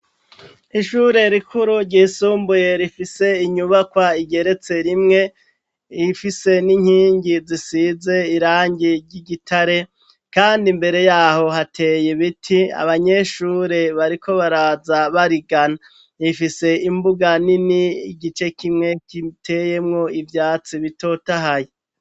Ishure rikuru ryisumbuye rifise inyubakwa igeretse rimwe rifise n'inkingi zisize irangi ry'igitare, kandi imbere yaho hateye ibiti abanyeshure bariko baraza barigana rifise imbuga nini igice kimwe kiteyemwo ivyatsi bitota haye.